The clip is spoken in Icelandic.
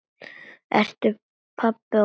Eru pabbi og mamma komin?